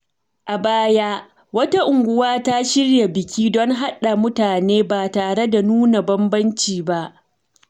A baya, wata unguwa ta shirya biki don haɗa mutane ba tare da nuna bambanci ba.